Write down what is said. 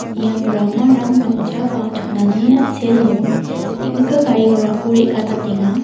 ian ramarang namja ba chonani a·selo neng·nika gari gorako re·gatatenga.